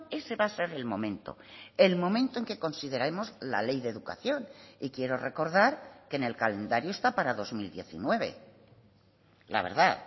ese va a ser el momento el momento en que consideraremos la ley de educación y quiero recordar que en el calendario está para dos mil diecinueve la verdad